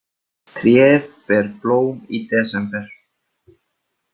Tréð ber blóm i desember.